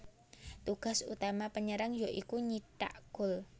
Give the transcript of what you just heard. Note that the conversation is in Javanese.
Tugas utama penyerang ya iku nyithak gol